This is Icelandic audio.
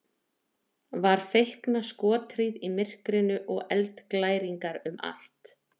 Var feikna skothríð í myrkrinu og eldglæringar um allt.